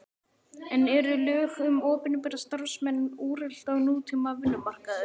En eru lög um opinbera starfsmenn úrelt á nútíma vinnumarkaði?